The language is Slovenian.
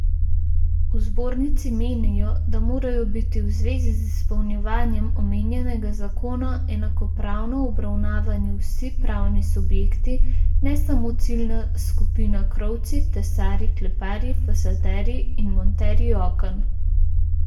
V zbornici menijo, da morajo biti v zvezi z izpolnjevanjem omenjenega zakona enakopravno obravnavani vsi pravni subjekti, ne samo ciljna skupina krovci, tesarji, kleparji, fasaderji in monterji oken.